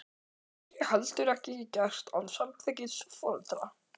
Það væri heldur ekki gert án samþykkis foreldra.